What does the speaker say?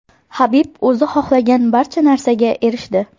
Habib o‘zi xohlagan barcha narsaga erishdi.